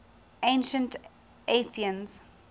ancient athenians